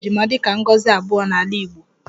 A na-ahụta ejima dịka ngọzi abụọ n'ala Igbo